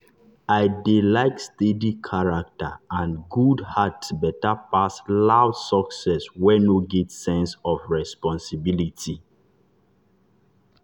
i dey like steady character and good heart better pass loud success wey no get sense of responsibility.